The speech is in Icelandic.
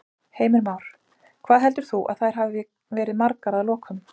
Heimir Már: Hvað heldur þú að þær hafi verið margar að lokum?